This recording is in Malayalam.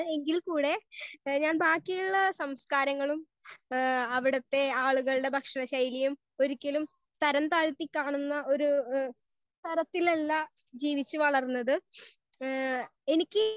സ്പീക്കർ 1 എങ്കിൽ കൂടെ ഞാൻ ബാക്കിയുള്ള സംസ്കാരങ്ങളും ഹേ അവിടെത്തെ ആളുകളുടെ ഭക്ഷണ ശൈലിയും ഒരിക്കലും തരം തായത്തി കാണുന്ന ഒര് ഹേ തരത്തിലുള്ള ഹ് ജീവിച്ച് വളർന്നത് എനിക്ക്